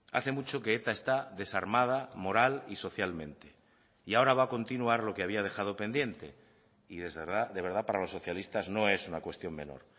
hace mucho que eta está desarmada moral y socialmente y ahora va a continuar lo que había dejado pendiente y de verdad para los socialistas no es una cuestión menor